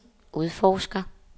udforsker